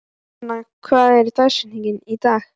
Helen, hver er dagsetningin í dag?